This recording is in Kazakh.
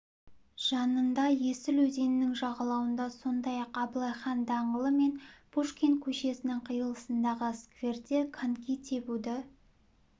жанында есіл өзенінің жағалауында сондай-ақ абылай хан даңғылы мен пушкин көшесінің қиылысындағы скверде коньки тебуді